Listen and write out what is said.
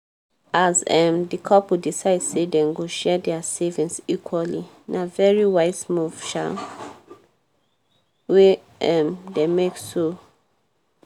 as um di couple decide say dem go share dia savings equally na very wise move um wey um dem make so